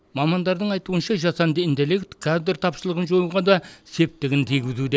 мамандардың айтуынша жасанды интеллект кадр тапшылығын жоюға да септігін тигізуде